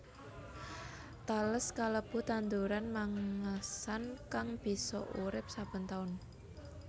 Tales kalebu tanduran mangsan kang bisa urip saben taun